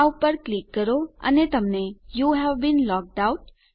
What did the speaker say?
આ પર ક્લિક કરો અને તમને યુવે બીન લોગ્ડ આઉટ